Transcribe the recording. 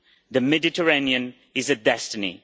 The Mediterranean is a destiny'.